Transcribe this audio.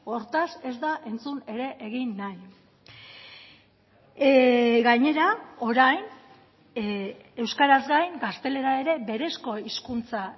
hortaz ez da entzun ere egin nahi gainera orain euskaraz gain gaztelera ere berezko hizkuntza